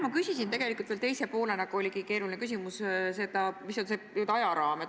Ma küsisin tegelikult veel ka seda – mul oligi keeruline küsimus –, milline on see n-ö ajaraam.